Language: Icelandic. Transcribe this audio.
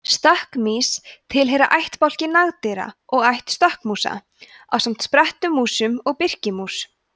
stökkmýs tilheyra ættbálki nagdýra og ætt stökkmúsa ásamt sprettmúsum og birkimús